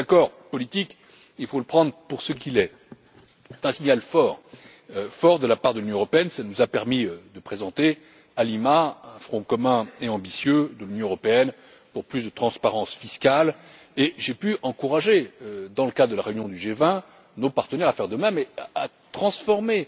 Cet accord politique il faut le prendre pour ce qu'il est est un signal fort, fort de la part de l'Union européenne il nous a permis de présenter, à Lima, un front commun et ambitieux de l'Union européenne pour plus de transparence fiscale, et j'ai pu encourager, dans le cadre de la réunion du G20, nos partenaires à faire de même et à transformer